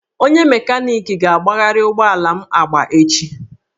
Onye mekaniki ga-agbagharị ụgbọ ala m agba echi